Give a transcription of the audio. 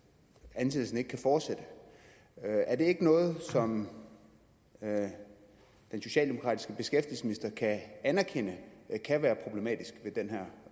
ansættelsen ikke kan fortsætte er det ikke noget som den socialdemokratiske beskæftigelsesminister kan anerkende kan være problematisk ved den her